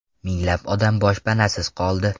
Minglab odam boshpanasiz qoldi.